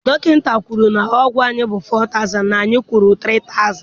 Dọkịta kwuru na ụgwọ anyị bụ 4000 na anyị kwụrụ 3000